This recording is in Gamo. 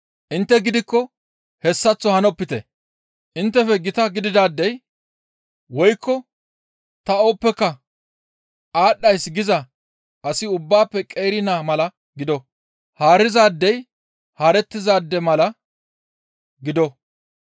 Intte gidikko hessaththo hanopite; inttefe gita gididaadey woykko ta ooppeka aadhdhays giza asi ubbaafe qeeri naa mala gido; haarizaadey haarettizaade mala gido.